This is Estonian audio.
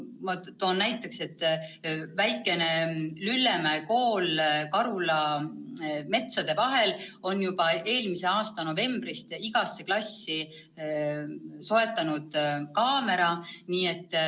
Ma toon näiteks, et väikene Lüllemäe kool Karula metsade vahel soetas juba eelmise aasta novembris igasse klassi kaamera.